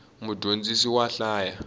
mudyondzisi wa hlaya